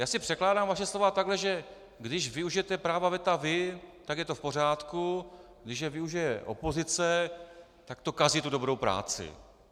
Já si překládám vaše slova tak, že když využijete práva veta vy, tak je to v pořádku, když je využije opozice, tak to kazí tu dobrou práci.